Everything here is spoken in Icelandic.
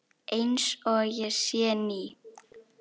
Einsog ég sé ný.